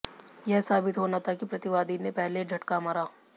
यह साबित होना था कि प्रतिवादी ने पहले झटका मारा